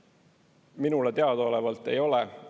Minule teadaolevalt ei ole.